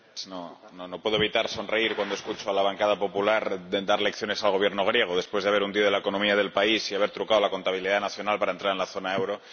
Señora Presidenta, no puedo evitar sonreír cuando escucho a la bancada popular dar lecciones al Gobierno griego después de haber hundido la economía del país y haber trucado la contabilidad nacional para entrar en la zona euro.